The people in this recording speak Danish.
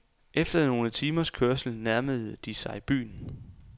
Efter nogle timers kørsel nærmede de sig byen.